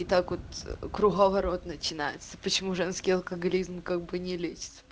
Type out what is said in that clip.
и так вот круговорот начинается почему женский алкоголизм как бы не лечится